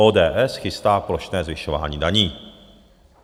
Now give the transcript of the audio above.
ODS chystá plošné zvyšování daní.